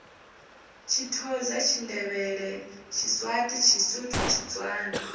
tshithoza tshindevhele tshiswati tshisuthu tshitswana